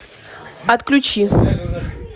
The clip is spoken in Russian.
отключи